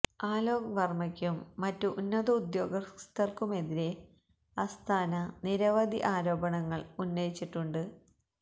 അലോക് വര്മയ്ക്കും മറ്റ് ഉന്നത ഉദ്യോഗസ്ഥര്ക്കുമെതിരെ അസ്താന നിരവധി ആരോപണങ്ങള് ഉന്നയിച്ചിട്ടുണ്ട്